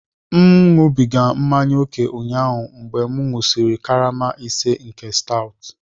M na-aṅụbiga mmanya ókè ụnyaahụ mgbe m ṅụsịrị karama ise nke stout